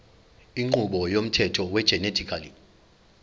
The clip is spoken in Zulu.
inqubo yomthetho wegenetically